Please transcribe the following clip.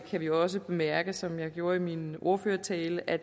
kan vi jo også bemærke som jeg gjorde i min ordførertale at